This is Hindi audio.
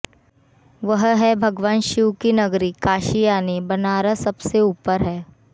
वह है भगवान शिव की नगरी काशी यानि बनारस सबसे ऊपर है